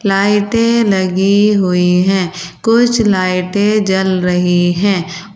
लाइटें लगी हुई है कुछ लाइटें जल रही है।